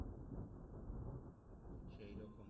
সেইরকম